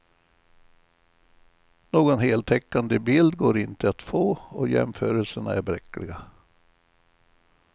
Någon heltäckande bild går inte att få och jämförelserna är bräckliga.